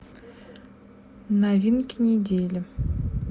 новинки недели